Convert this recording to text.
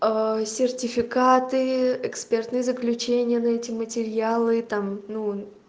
сертификаты экспертные заключения на эти материалы и там ну